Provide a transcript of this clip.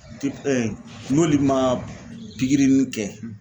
n'olu ma pikiri ni kɛ